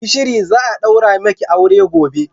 Yi shiri, za'a ɗaura maki aure gobe.